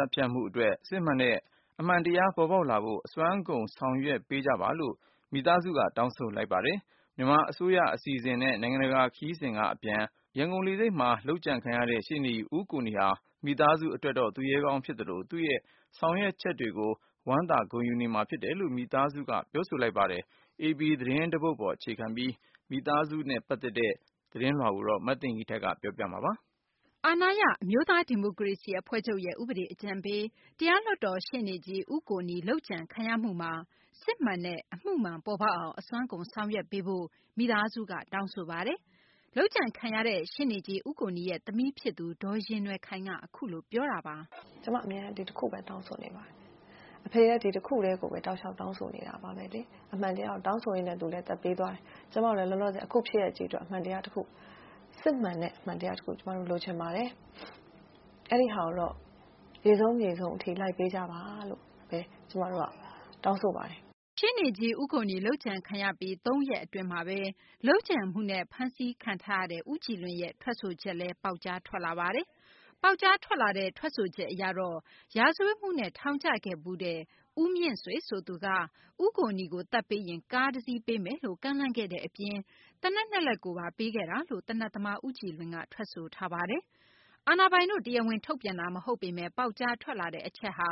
တ်ဖြတ်မှုအတွက် စစ်မှန်တဲ့ အမှန်တရား ပေါ်ပေါက်လာဖို့ အစွမ်းကုန် ဆောင်ရွက်ပေးကြပါလို့ မိသားစုက တောင်းဆိုလိုက်ပါတယ်။ မြန်မာ အစိုးရ အစီအစဉ်နဲ့ နိုင်ငံတကာ ခရီးစဉ်က အပြန် ရန်ကုန်လေဆိပ်မှာ လုပ်ကြံခံရတဲ့ ရှေ့နေကြီး ဦးကိုနီ ဟာ မိသားစု အတွက်တော့ သူရဲကောင်း ဖြစ်သလို သူ့ရဲ့ ဆောင်ရွက်ချက်တွေကို ဝမ်းသာ ဂုဏ်ယူနေမှာ ဖြစ်တယ်လို့ မိသားစုက ပြောဆိုလိုက်ပါတယ်။ AP သတင်းဌာနက ရရှိထားတဲ့ မိသားစုနဲ့ တွေ့ဆုံမေးမြန်းခန်းကိုတော့ မသိင်္ဂ ီထိုက်က ပြန်လည် ပြောပြပေးမှာပါ။ အာဏာရ အမျိုးသား ဒီမိုကရေစီ အဖွဲ့ချုပ်ရဲ့ ဥပဒေ အကြံပေး တရားလွှတ်တော် ရှေ့နေကြီး ဦးကိုနီ လုပ်ကြံခံရမှုမှာ စစ်မှန်တဲ့ အမှုမှန် ပေါ်ပေါက်အောင် အစွမ်းကုန် ဆောင်ရွက်ပေးပါလို့ မိသားစုက တောင်းဆိုလိုက်တာပါ။ လုပ်ကြံခံခဲ့ရတဲ့ ရှေ့နေကြီး ဦးကိုနီရဲ့ သမီးဖြစ်သူ ဒေါ်ယဉ်နွယ်ခိုင်က အခုလို ပြောတာပါ။ “ကျမ အမြဲတမ်း ဒီတခုပဲ တောင်းဆိုနေတာပါ။ အဖေကလည်း ဒီတခုတည်းကိုပဲ တောက်လျှောက် တောင်းဆိုနေတာပါပဲ။ အမှန်တရားကို တောင်းဆိုရင်းနဲ့ သူလည်း အသက်ပေးသွားတယ်။ ကျမလည်း အခုဖြစ်ရပ်ကြီးအတွက် အမှန်တရားတခု စစ်မှန်တဲ့ အမှန်တရားတခု ကျမတို့ လိုချင်ပါတယ်။ အဲဒီဟာကိုတော့ ရေစုံမြေစုံထိ လိုက်ပေးကြပါလို့။” ရှေ့နေကြီး ဦးကိုနီ လုပ်ကြံခံရပြီး ၂ ရက် အတွင်းမှာဘဲ လုပ်ကြံမှုနဲ့ ဖမ်းဆီးထားတဲ့ ဦးကြည်လွင်ရဲ့ ထွက်ဆိုချက်လည်း ပေါက်ကြားထွက်လာပါတယ်။ ပေါက်ကြားထွက်လာတဲ့ ထွက်ဆိုချက်အရတော့ ရာဇဝတ်မှုနဲ့ ထောင်ကျဖူးတဲ့ ဦးမြင့်ဆွေ ဆိုသူက ဦးကိုနီကို သတ်ပေးရင် ကားပေးမယ်လို့ ကမ်းလှမ်းခဲ့တဲ့ အပြင် သေနတ် ၂ လက်ကိုပါ ပေးခဲ့တယ်လို့ သေနတ်သမား ဦးကြည်လွင်က ထွက်ဆိုထားတာပါ။ အာဏာပိုင်တို့က တရားဝင် ထုတ်ပြန်တာ မဟုတ်ပေမယ့် ပေါက်ကြားထွက်လာတဲ့ အချက်ဟာ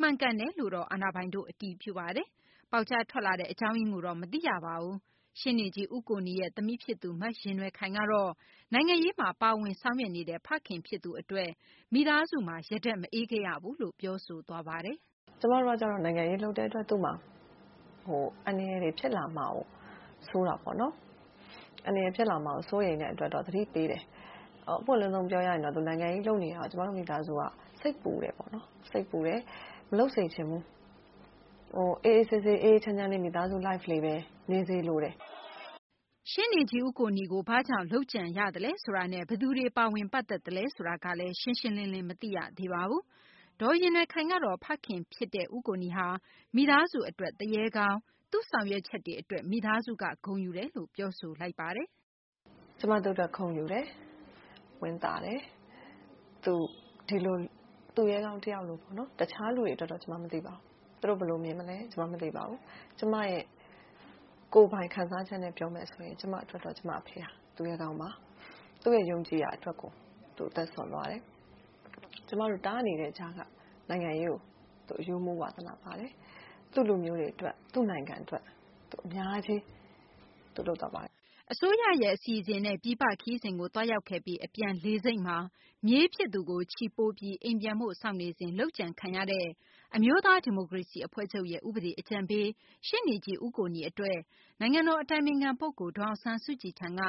မှန်ကန်တယ်လို့တော့ အာဏာပိုင်တို့က အတည်ပြုပါတယ်။ ပေါက်ကြားထွက်လာတဲ့ အကြောင်းရင်းကိုတော့ မသိရပါဘူး။ ရှေ့နေကြီး ဦးကိုနီရဲ့ သမီးဖြစ်သူ မယဉ်နွယ်ခိုင် ကတော့ နိုင်ငံရေးမှာ ပါဝင် ဆောင်ရွက်နေတဲ့ ဖခင်ဖြစ်သူ အတွက် မိသားစုမှာ ရတက်မအေးခဲ့ရဘူးလို့ ပြောဆိုပါတယ်။ “ကျမတို့ကကြတော့ နိုင်ငံရေးလုပ်တဲ့အတွက် သူ့မှာအန္တရာယ်တွေဖြစ်လာမှာကို စိုးတာပေါ့နော်။ အန္တရာယ်ဖြစ်လာမှာကို စိုးရိမ်တဲ့အတွက် သတိပေးတယ်။ အပွင့်လင်းဆုံးပြောရရင် သူနိုင်ငံရေးလုပ်နေတာ ကျမတို့ မိသားစုက စိတ်ပူတယ်ပေါ့နော်။ မလုပ်စေချင်ဘူး။ အေးအေးဆေးဆေးနဲ့ အေးအေးချမ်းချမ်းလေး မိသားစုဘဝလေးအဖြစ် နေစေလိုတယ်။” ရှေ့နေကြီး ဦးကိုနီကို ဘာကြောင့် လုပ်ကြံရသလဲ ဆိုတာနဲ့ ဘယ်သူတွေ ပါဝင် ပတ်သက်သလဲ ဆိုတာကလည်း ရှင်းရှင်းလင်းလင်း မသိရသေးပါဘူး။ ဒေါ်ယဉ်နွယ်ခိုင်ကတော့ ဖခင်ဖြစ်တဲ့ ဦးကိုနီ ဟာ မိသားစု အတွက်တော့ သူရဲကောင်း၊ သူ့ဆောင်ရွက်ချက်တွေ အတွက် မိသားစုက ဂုဏ်ယူနေတယ်လို့ ပြောဆိုပါတယ်။ “ကျမသူ့အတွက် ဂုဏ်ယူတယ်။ ဝမ်းသာတယ်။ သူဒီလို သူရဲကောင်းတယောက်အနေနဲ့ပေါ့နော်။ အခြားသူတွေအတွက် သူတို့ဘယ်လိုမြင်သလဲဆိုတာ ကျမ မသိပါဘူး။ ကျမရဲ့ ကိုယ်ပိုင်ခံစားချက်နဲ့ ပြောမယ်ဆိုရင် ကျမအတွက်တော့ ကျမအဖေဟာ သူရဲကောင်းပါ။ သူရဲ့ ယုံကြည်ရာအတွက်ကို သူအသက်စွန့်သွားတယ်။ ကျမတို့ တားနေတဲ့ကြားက နိုင်ငံရေးကို အရှူးအမူးဝါသနာပါတယ်။ သူ့လူမျိုးတွေအတွက်၊ သူ့နိုင်ငံအတွက် အများကြီးသူလုပ်သွားပါတယ်။” အစိုးရရဲ့ အစီအစဉ်နဲ့ ပြည်ပခရီးစဉ်ကို သွားရောက်ခဲ့ပြီး အပြန် လေဆိပ်မှာ မြေးဖြစ်သူကို ချီပိုးပြီး အိမ်ပြန်ဖို့ စောင့်နေစဉ် လုပ်ကြံခံရတဲ့ အမျိုးသား ဒီမိုကရေစီ အဖွဲ့ချုပ်ရဲ့ ဥပဒေ အကြံပေး ဖြစ်တဲ့ ရှေ့နေကြီး ဦးကိုနီ အတွက် နိုင်ငံတော် အတိုင်ပင်ခံ ပုဂ္ဂိုလ် ဒေါ်အောင်ဆန်းစုကြည်ထံက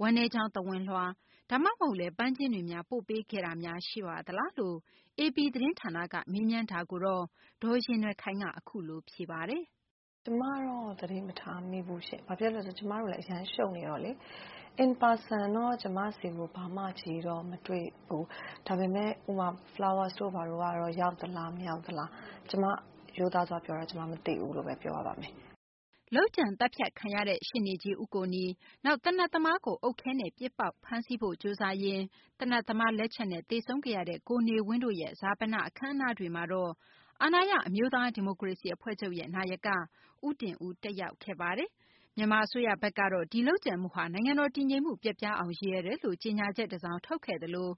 ဝမ်းနည်းကြောင်း သဝဏ်လွှာ၊ ဒါမှမဟုတ်လည်း ပန်းခြင်းတွေ ပို့ပေးခဲ့တာများ ရှိပါသလားလို့ AP သတင်းဌာနက မေးမြန်းတာမှာတော့ ဒေါ်ယဉ်နွယ်ခိုင်က အခုလို ဖြေကြားသွားပါတယ်။ “ကျမတော့ သတိမထားမိဘူးရှင့်။ ဘာဖြစ်လို့လဲဆိုတော့ ကျမတို့လည်း အရမ်းရှုပ်နေတော့လေ။ ပုဂ္ဂိုလ်ရေးအရ ကျမတို့နဲ့တော့ မတွေ့သေးဘူး။ ဒါပေမဲ့ ပန်းခြင်းတွေဘာတွေ ရောက်မရောက်ဆိုတာကတော့ ရိုးသားစွာပြောတာ ကျမ မသိဘူး။” လုပ်ကြံသတ်ဖြတ်ခံရတဲ့ ရှေ့နေကြီး ဦးကိုနီ၊ နောက် သေနတ်သမားကို အုတ်ခဲနဲ့ ပစ်ပေါက် ဖမ်းဆီးဖို့ ကြိုးစားရင်း သေနတ်သမား လက်ချက်နဲ့ သေဆုံးခဲ့ရတဲ့ ကိုနေဝင်းတို့ရဲ့ ဈာပဏ အခမ်းအနားတွေမှာတော့ အာဏာရ အမျိုးသား ဒီမိုကရေစီ အဖွဲ့ချုပ် နာယက ဦးတင်ဦး ကိုယ်တိုင် တက်ရောက်ခဲ့ပါတယ်။ မြန်မာ အစိုးရဘက်ကတော့ ဒီလုပ်ကြံမှုဟာ နိုင်ငံတော် တည်ငြိမ်မှု ပျက်ပြားအောင် ရည်ရွယ်တယ်လို့ ကြေညာချက် တစောင် ထုတ်ခဲ့ သလို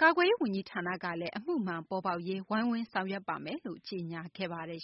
ကာကွယ်ရေး ဝန်ကြီးဌာနကလည်း အမှုမှန်ပေါ်ရေး ဝိုင်းဝန်းဆောင်ရွက်မယ်လို့ ကြေညာခဲ့ပါတယ်